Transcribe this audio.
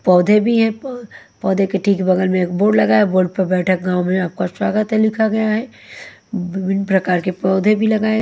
पौधे भी हैं पौ पौधे के ठीक बगल में एक बोर्ड लगा है बोर्ड पर बैठक गाँंव में आपका स्वागत है लिखा गया है विभिन्न प्रकार के पौधे भी लगाए--